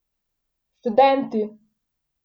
Študenti!